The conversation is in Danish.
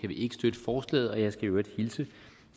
vi ikke støtte forslaget og jeg skal i øvrigt hilse